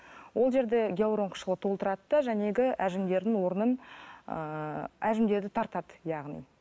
ол жерде гиалурон қышқылы толтырады да әжімдердің орнын ыыы әжімдерді тартады яғни